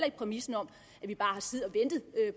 ikke præmissen om at vi bare har siddet